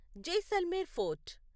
Jaisalmer fort